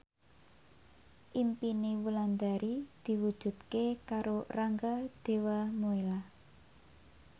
impine Wulandari diwujudke karo Rangga Dewamoela